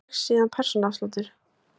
Frá dregst síðan persónuafsláttur.